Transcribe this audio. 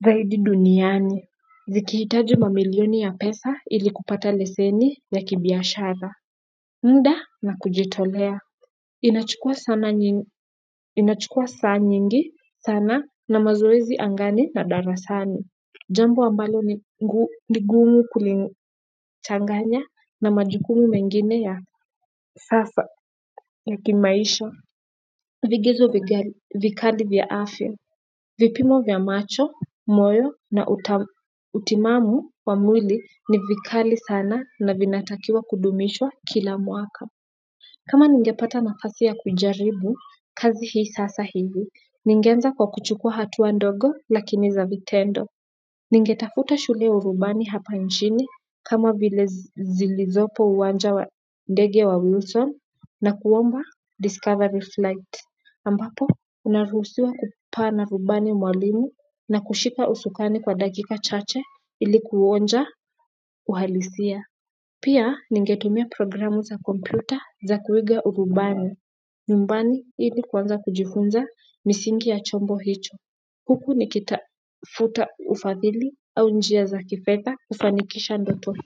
zaidi duniani. Zikihitaji mamilioni ya pesa ili kupata leseni ya kibiashara. Muda na kujitolea. Inachukua saa nyingi sana na mazoezi angani na darasani jambo ambalo ni ligumu kulichanganya na majukumu mengine ya sasa ya kimaisha. Vigezo vikali vya afya, vipimo vya macho, moyo na utimamu wa mwili ni vikali sana na vinatakiwa kudumishwa kila mwaka kama ningepata nafasi ya kujaribu kazi hii sasa hivi, ningeanza kwa kuchukua hatua ndogo lakini za vitendo. Ningetafuta shule ya urubani hapa nchini kama vile zilizopo uwanja wa ndege wa Wilson na kuomba Discovery Flight. Ambapo unaruhusiwa kupaa na rubani mwalimu na kushika usukani kwa dakika chache ili kuonja uhalisia. Pia ningetumia programu za kompyuta za kuiga urubani. Numbani ili kuanza kujifunza misingi ya chombo hicho. Huku nikitafuta ufadhili au njia za kifedha kufanikisha ndoto.